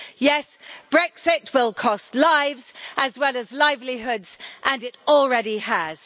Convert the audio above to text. Yes, Brexit will cost lives, as well as livelihoods and it already has.